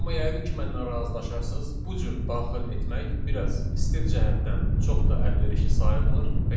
Amma yəqin ki, məndən razılaşarsız, bu cür daxil etmək biraz stil cəhətdən çox da əlverişli sayılmır.